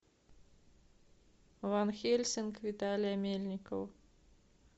ван хельсинг виталия мельникова